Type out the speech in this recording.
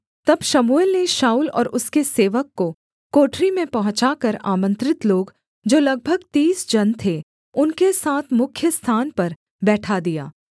तब शमूएल ने शाऊल और उसके सेवक को कोठरी में पहुँचाकर आमन्त्रित लोग जो लगभग तीस जन थे उनके साथ मुख्य स्थान पर बैठा दिया